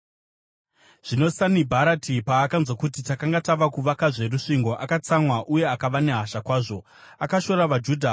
Zvino Sanibharati paakanzwa kuti takanga tava kuvakazve rusvingo, akatsamwa uye akava nehasha kwazvo. Akashora vaJudha